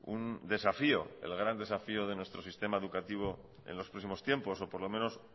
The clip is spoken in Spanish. un desafío el gran desafío de nuestro sistema educativo en los próximos tiempos o por lo menos